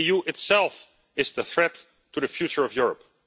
The EU itself is the threat to the future of Europe.